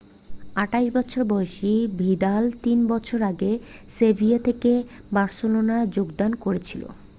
28 বছর বয়সী ভিদাল 3 বছর আগে সেভিয়া থেকে বার্সেলোনায় যোগদান করেছিল